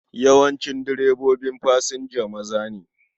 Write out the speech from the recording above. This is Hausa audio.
Yawancin direbobin fasinja maza ne.